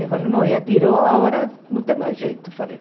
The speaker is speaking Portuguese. Eu falei, não, já tirou, agora não tem mais jeito, falei.